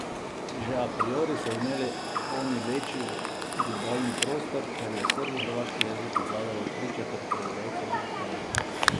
Že a priori so imeli oni večji gledalni prostor, ker je srbohrvaški jezik obvladalo tričetrt prebivalcev Jugoslavije.